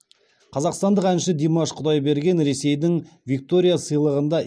қазақстандық әнші димаш құдайберген ресейдің виктория сыйлығында